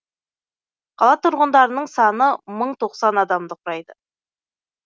қала тұрғындарының саны мың тоқсан адамды құрайды